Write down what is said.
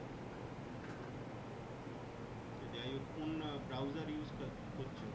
সে যাইহোক কোন browser use ক করছো